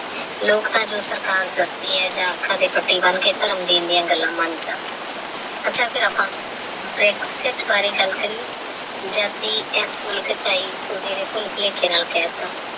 ਲੋਕ ਤਾ ਜੋ ਸਰਕਾਰ ਦੱਸਦੀ ਹੈ ਜਾ ਅੱਖਾਂ ਤੇ ਪਤੀ ਬੰਨ ਕੇ ਧਰਮ ਦੀਆ ਐਨੀਆਂ ਗੱਲਾਂ ਮਨ ਜਾਂਦੇ ਹੈ ਅੱਛਾ ਫੇਰ ਆਪਾ ਬਾਰੇ ਗੱਲ ਕਰੀਏ ਜੱਦ ਦੀ ਆਈ ਭੁਲੇਖੇ ਨਾਲ ਕਹਿ ਤਾ।